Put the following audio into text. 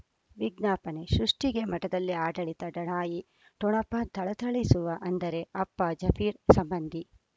ವಿಜ್ಞಾಪನೆ ಸೃಷ್ಟಿಗೆ ಮಠದಲ್ಲಿ ಆಡಳಿತ ಲಢಾಯಿ ಠೊಣಪ ಥಳಥಳಿಸುವ ಅಂದರೆ ಅಪ್ಪ ಜಾಫೀರ್ ಸಂಬಂಧಿ